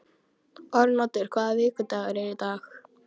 Arnoddur, hvaða vikudagur er í dag?